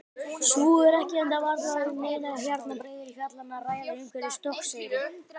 Svo er ekki enda varla um neinar hjarnbreiður fjallanna að ræða umhverfis Stokkseyri.